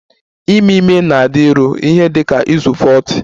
Ime ime na-adịru ihe dị ka izu 40